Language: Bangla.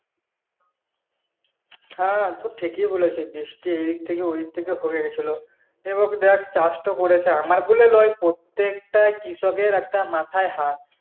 হ্যাঁ তুই ঠিকই বলেছিলিস যে এদিক থেকে ওদিক থেকে হয়ে গেছিলো এবারে দেখ চাষ তো করেছে আমার বলে নয় প্রত্যেকটা কৃষকের একটা মাথায় হাত